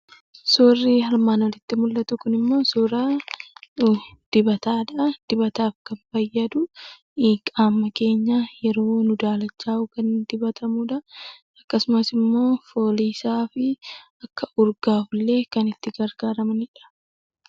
Suurri armaan olitti mul'atu kunimmoo suuraa dibataadha. Dibatni kan fayyadu qaama keenyaaf yeroo nu daalachaaye kan dibatamudha. Akkasumas immoo foolii isaa fi kan urgaawu illee kan itti gargaaramnudha.